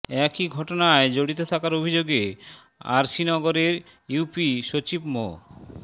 একই ঘটনায় জড়িত থাকার অভিযোগে আরশীনগরের ইউপি সচিব মো